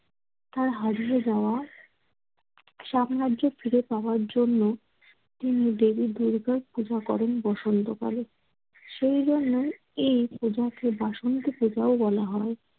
তার হারিয়ে যাওয়া সাম্রাজ্য ফিরে পাওয়ার জন্য তিনি দেবী দুর্গার পূজা করেন বসন্তকালে। সেই জন্যই এই পূজাকে বসন্তপূজাও বলা হয়।